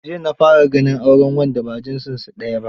Jiya na fara ganin auren wanda ba jinsunsu daya ba.